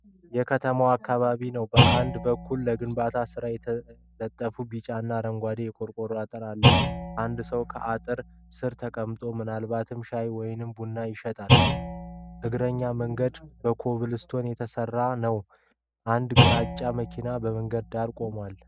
የከተማ አካባቢን ነው። በአንድ በኩል ለግንባታ ስራ የተለጠፈ ቢጫና አረንጓዴ የቆርቆሮ አጥር አለ። አንድ ሰው ከጥላ ስር ተቀምጦ ምናልባትም ሻይ ወይም ቡና ይሸጣል። የእግረኛ መንገዱ በኮብልስቶን የተሰራ ነው። አንድ ግራጫ መኪና በመንገድ ዳር ቆሟል።